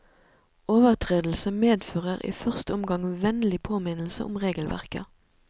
Overtredelse medfører i første omgang vennlig påminnelse om regelverket.